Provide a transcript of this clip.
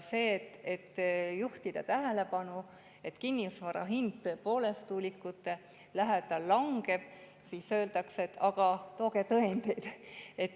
Kui juhtida tähelepanu, et kinnisvara hind tuulikute lähedal langeb, siis öeldakse, et aga tooge tõendeid.